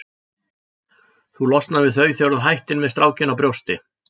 Þú losnar við þau þegar þú hættir með strákinn á brjósti.